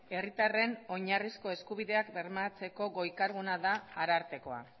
herritarren oinarrizko eskubideak bermatzeko goi kargua da arartekoa